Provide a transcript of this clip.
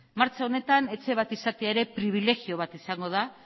martxa honetan etxe bat izatea ere pribilegio bat izango da